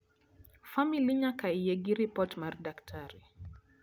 famili nyaka yie gi report mar daktari